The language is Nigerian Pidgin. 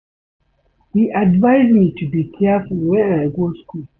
He advice me to be careful wen I go school